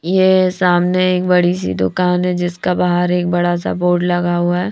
यह सामने एक बड़ी सी दुकान है जिसका बाहर एक बड़ा सा बोर्ड लगा हुआ है।